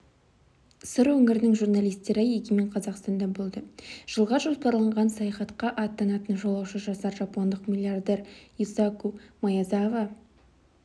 сыр өңірінің журналистері егемен қазақстанда болды жылға жоспарланған саяхатқа аттанатын жолаушы жасар жапондық миллиардер юсаку маэзава